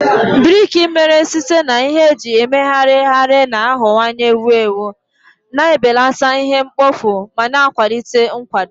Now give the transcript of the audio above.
Briki mere site na ihe eji emegharịgharị na-aghọwanye ewu ewu, na-ebelata ihe mkpofu ma na-akwalite nkwado.